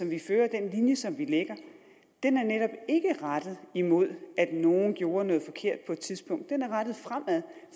vi fører den linje som vi lægger er netop ikke rettet mod at nogle gjorde noget forkert på et tidspunkt den er rettet fremad